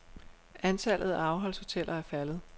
Antallet af afholdshoteller er faldet.